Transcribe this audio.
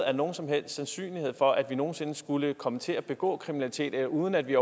er nogen som helst sandsynlighed for at vi nogen sinde skulle komme til at begå kriminalitet eller uden at vi